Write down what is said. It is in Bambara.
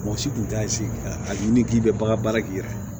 Mɔgɔ si tun t'a sigi a ɲini k'i bɛ bagan baara k'i yɛrɛ ye